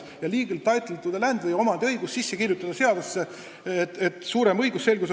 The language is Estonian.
Too legal title to the land võiks olla seadusesse sisse kirjutatud, et oleks suurem õigusselgus.